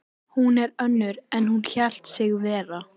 Hún er önnur en hún hélt sig vera.